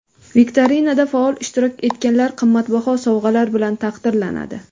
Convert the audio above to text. Viktorinada faol ishtirok etganlar qimmatbaho sovg‘alar bilan taqdirlanadi.